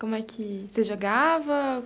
Como é que... Você jogava?